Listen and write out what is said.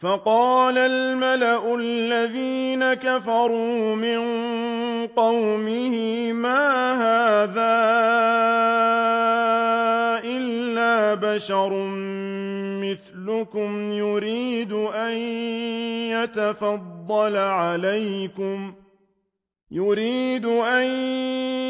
فَقَالَ الْمَلَأُ الَّذِينَ كَفَرُوا مِن قَوْمِهِ مَا هَٰذَا إِلَّا بَشَرٌ مِّثْلُكُمْ يُرِيدُ أَن